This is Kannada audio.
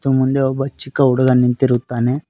ಮುಂದೆ ಒಬ್ಬ ಚಿಕ್ಕ ಹುಡುಗ ನಿಂತಿರುತ್ತಾನೆ.